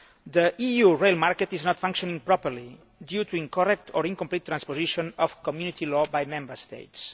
The EU rail market is not functioning properly, due to incorrect or incomplete transposition of Community law by Member States.